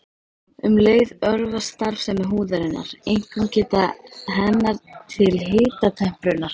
Um leið örvast starfsemi húðarinnar, einkum geta hennar til hitatemprunar.